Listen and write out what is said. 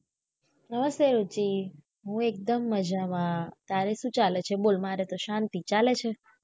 હા સિયોચી હું એકદમ મજા માં તારે શું ચાલે છે બોલ મારે તો શાંતિ ચાલે છે